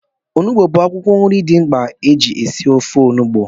Onugbu bụ akwụkwọ nri dị mkpa eji esi ofe onugbu